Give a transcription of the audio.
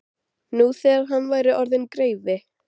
Nú þegar hann væri orðinn greifi.